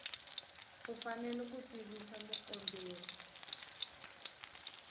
u fanele ku tivisa mukomberi